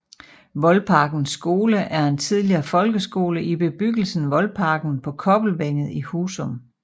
Voldparkens Skole er en tidligere folkeskole i bebyggelsen Voldparken på Kobbelvænget i Husum